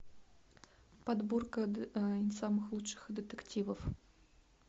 подборка самых лучших детективов